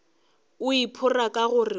o iphora ka gore o